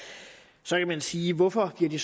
man sige hvorfor bliver det